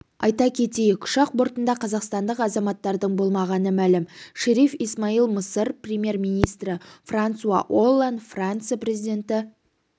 айта кетейік ұшақ бортында қазақстандық азаматтардың болмағаны мәлім шериф исмаил мысыр премьер-министрі франсуа олланд франция президенті